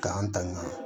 K'an tanga